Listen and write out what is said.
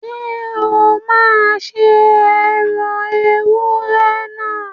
Ṣé o máa se ẹran ewúrẹ́ náà?